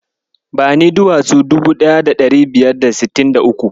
Bani duwatsu dubu ɗaya da ɗari biyar da sittin da uku.